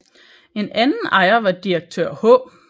En anden ejer var direktør H